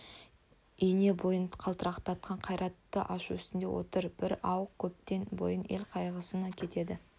ене бойын қалтыратқан қайратты ашу үстінде отыр бір ауық көптен бойын ел қайғысына кетеді